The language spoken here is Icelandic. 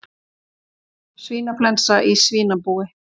Svínaflensa í svínabúi